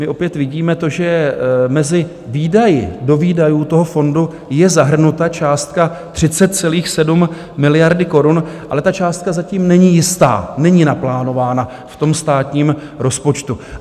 My opět vidíme to, že mezi výdaji, do výdajů toho fondu, je zahrnuta částka 30,7 miliardy korun, ale ta částka zatím není jistá, není naplánována v státním rozpočtu.